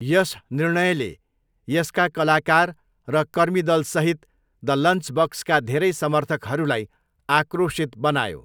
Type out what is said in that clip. यस निर्णयले यसका कलाकार र कर्मीदलसहित द लन्चबक्सका धेरै समर्थकहरूलाई आक्रोशित बनायो।